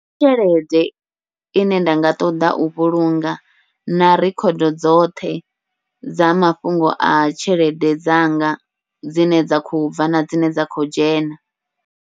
Ndi tshelede ine nda nga ṱoḓa u vhulunga na record dzoṱhe dza mafhungo a tshelede dzanga, dzine dza kho bva na dzine dza khou dzhena.